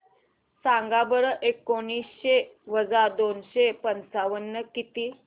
सांगा बरं एकोणीसशे वजा दोनशे पंचावन्न किती